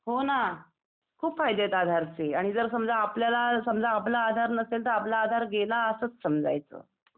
हो ना! खूप फायदे आहेत आधारचे. आणि जर समजा आपल्याला समजा आपला आधार नसेल तर आपला आधार गेला असच समजायचं.